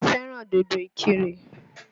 Mo fẹ́ràn dòdò Ìkìrè.